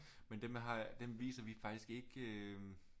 Men dem har dem viser vi faktisk ikke øh